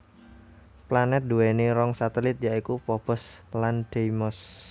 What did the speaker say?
Planèt nduwèni rong satelit ya iku Phobos lan Deimos